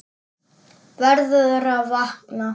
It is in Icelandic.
Verður að vakna.